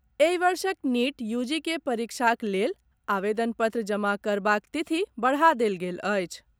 एहि वर्षक नीट, यूजीक परीक्षाक लेल आवेदन पत्र जमा करबाक तिथि बढ़ा देल गेल अछि।